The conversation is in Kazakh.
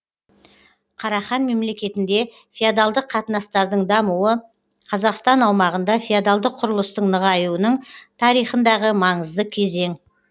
қарахан мемлекетінде феодалдық қатынастардың дамуы қазақстан аумағында феодалдық құрылыстың нығаюының тарихындағы маңызды кезең